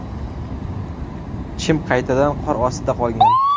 Chim qaytadan qor ostida qolgan.